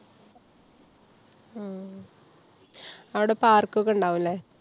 അവിടെ park ഒക്കെ ഉണ്ടാവും ല്ലേ?